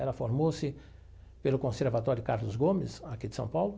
Ela formou-se pelo Conservatório Carlos Gomes, aqui de São Paulo,